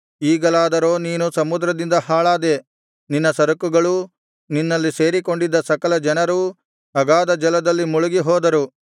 ಈಗಲಾದರೋ ನೀನು ಸಮುದ್ರದಿಂದ ಹಾಳಾದೆ ನಿನ್ನ ಸರಕುಗಳೂ ನಿನ್ನಲ್ಲಿ ಸೇರಿಕೊಂಡಿದ್ದ ಸಕಲ ಜನರೂ ಅಗಾಧಜಲದಲ್ಲಿ ಮುಳುಗಿ ಹೋದರು